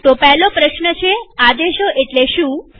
તો પહેલો પ્રશ્ન છેઆદેશો એટલે શું